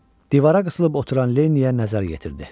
Divara qısılıb oturan Lenniyə nəzər yetirdi.